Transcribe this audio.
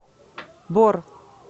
бор